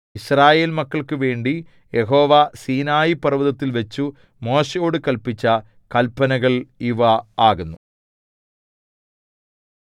യിസ്രായേൽമക്കൾക്കുവേണ്ടി യഹോവ സീനായിപർവ്വതത്തിൽവച്ചു മോശെയോടു കല്പിച്ച കല്പനകൾ ഇവ ആകുന്നു